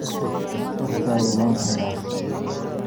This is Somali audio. warkaaga waan hayaa